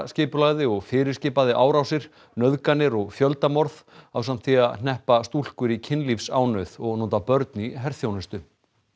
skipulagði og fyrirskipaði árásir nauðganir og fjöldamorð ásamt því að hneppa stúlkur í kynlífsánauð og nota börn í herþjónustu